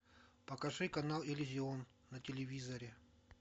покажи канал иллюзион на телевизоре